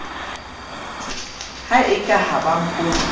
ha e ka ha ba